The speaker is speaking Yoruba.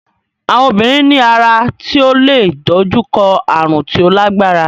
Àwọn obìnrin ní ara tí ó leè dojú kọ ààrùn tí ó lágbára.